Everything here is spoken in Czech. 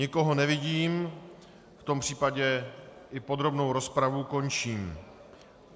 Nikoho nevidím, v tom případě i podrobnou rozpravu končím.